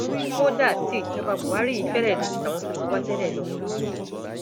kódà tí ìjọba buhari yìí fẹrẹ le ju tàwọn tí wọn ti wà tẹlẹ lọ